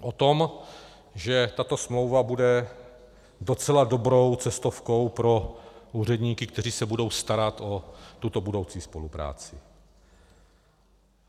O tom, že tato smlouva bude docela dobrou cestovkou pro úředníky, kteří se budou starat o tuto budoucí spolupráci.